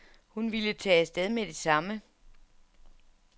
Hun ville tage af sted med det samme.